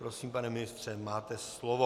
Prosím, pane ministře, máte slovo.